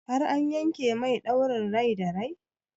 Har an yanke mai ɗaurin rai da rai?